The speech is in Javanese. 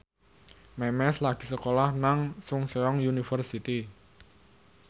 Memes lagi sekolah nang Chungceong University